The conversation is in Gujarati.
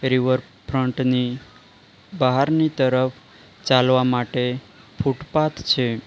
રિવર ફ્રન્ટ ની બહારની તરફ ચાલવા માટે ફૂટપાથ છે.